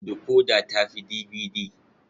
Decoder ta fi DVD.